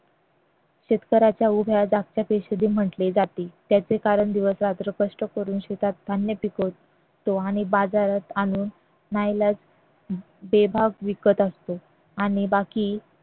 शेतकऱ्याच्या उभया जागत्या म्हटले जाते त्याचे कारण दिवसरात्र कष्ट करून शेतात धान्य पिकवतो आणि बाजारात आणून नाईलाज बेभाव विकत असतो आणि बाकी